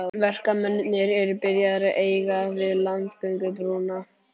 Verkamennirnir eru byrjaðir að eiga við landgöngubrúna.